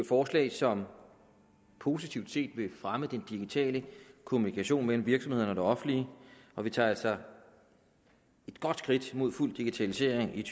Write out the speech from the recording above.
forslag som positivt set vil fremme den digitale kommunikation mellem virksomhederne og det offentlige og vi tager altså et godt skridt mod fuld digitalisering i